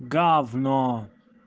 гавно